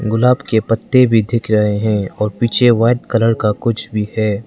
गुलाब के पत्ते भी दिख रहे हैं और पीछे व्हाइट कलर का कुछ भी है।